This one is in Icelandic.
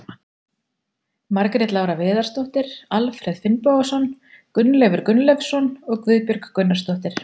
Margrét Lára Viðarsdóttir, Alfreð Finnbogason, Gunnleifur Gunnleifsson og Guðbjörg Gunnarsdóttir.